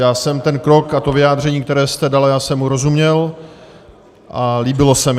Já jsem ten krok a to vyjádření, které jste dala, já jsem mu rozuměl a líbilo se mi.